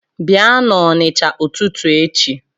Bịa n’Onisha ụtụtụ echi